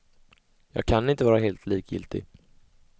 Jag kan inte vara helt likgiltig.